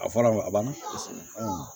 A fɔlɔ a banna